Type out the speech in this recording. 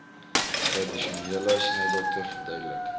tradisionele snydokter verduidelik